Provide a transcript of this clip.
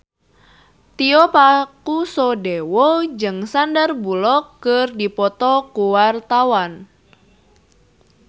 Tio Pakusadewo jeung Sandar Bullock keur dipoto ku wartawan